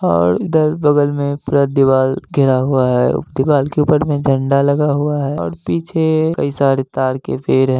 और इधर बगल में पूरा दिवाल घेरा हुआ है दिवाल के ऊपर में झंडा लगा हुआ है और पीछे कई सारे ताड़ के पेड़ हैं।